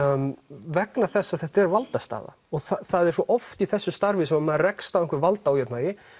vegna þess að þetta er valdastaða og það er svo oft í þessu starfi að maður rekst á einhver valdaójafnvægi